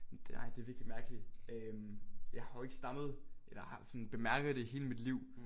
Det ej det virkelig mærkeligt øh jeg har jo ikke stammet eller jeg har sådan bemærket det i hele mit liv